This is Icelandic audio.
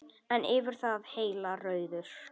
En yfir það heila: Rauður.